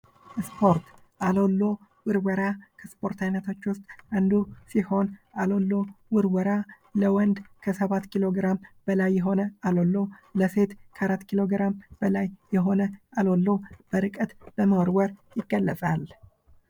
ስፖርት የአካል ብቃት እንቅስቃሴን በማበረታታት የልብና የደም ዝውውር ስርዓትን በማሻሻል ጤናማ ሕይወት ለመምራት ይረዳል።